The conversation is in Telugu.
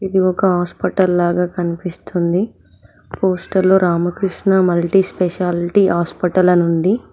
ఇది ఒక హాస్పటల్ లాగా కనిపిస్తుంది poster Ramakrishna multi specialty hospital అని ఉంది.